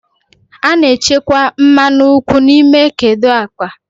A na-echekwa mmanụ nkwụ n'ime kedu akpa.